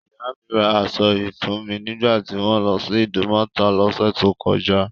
Ìyá mi ra aṣọ yìí fún mi nígbà tí wọ́n lọ sí Ìdúmọ̀tà lọ́sẹ̀ tó kọjá.